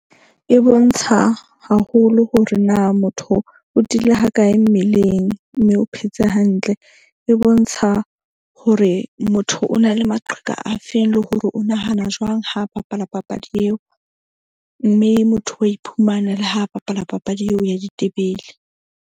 E bontsha haholo hore na motho o tiile ha kae mmeleng. Mme o phetse hantle. E bontsha hore motho o na le maqheka a feng le hore o nahana jwang ha bapala papadi eo. Mme motho wa iphumana le ha bapala papadi eo ya ditebele.